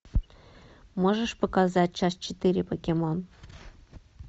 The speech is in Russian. можешь показать часть четыре покемон